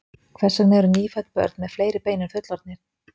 Hvers vegna eru nýfædd börn með fleiri bein en fullorðnir?